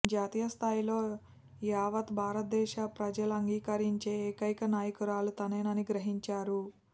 జాతీయ స్థాయిలో యావత్ భారతదేశ ప్రజలంగీకరించే ఏకైక నాయకురాలు తానేనని గ్రహించారు